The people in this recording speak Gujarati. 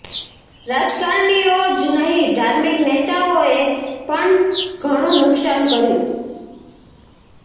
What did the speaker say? રાજકારણીઓ જ નહીં ધાર્મિક નેતાઓએ પણ ઘણું નુકસાન કર્યું